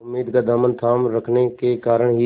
उम्मीद का दामन थामे रखने के कारण ही